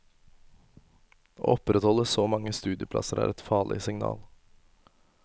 Å opprettholde så mange studieplasser er et farlig signal.